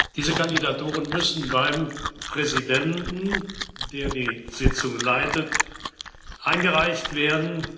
Diese Kandidaturen müssen beim Präsidenten, der die Sitzung leitet, eingereicht werden.